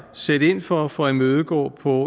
sætte ind for for at imødegå på